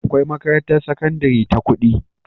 Akwai makarantar sakandari ta kudi